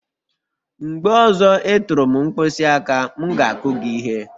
Mgbe ọzọ ị tụrụ m mkpịsị aka, m ga-akụ gị ihe..